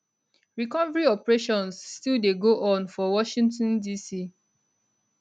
recovery operations still dey go on for washington dc